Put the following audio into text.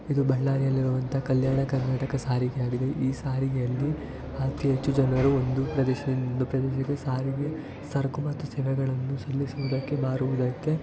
ಇದು ಬಳ್ಳಾರಿಯಲ್ಲಿ ಇರುವಂತ ಕಲ್ಯಾಣ ಕರ್ನಾಟಕ ಸಾರಿಗೆ ಆಗಿದೆ ಈ ಸಾರಿಗೆ ಅಲ್ಲಿಅತಿ ಹೆಚ್ಚುಜನರು ಒಂದು ಪ್ರದೇಶದಿಂದ ಇನ್ನೊಂದು ಪ್ರದೇಶಕ್ಕೆ ಸಾರಿಗೆ ಸರಕು ಮತ್ತು ಸೇವೆಗಳನ್ನು ಸಲ್ಲಿಸುವುದಕ್ಕೆ ಮಾರುವುದಕ್ಕೆ--